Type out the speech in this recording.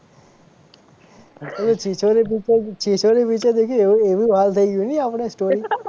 ઓલું Chhichhore picture Chhichhore picture દેખ્યું એવું એવું હાલ આપડે થઈ ગઈ story